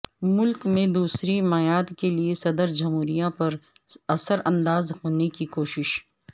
ملک میں دوسری میعاد کیلئے صدر جمہوریہ پر اثرانداز ہونے کی کوشش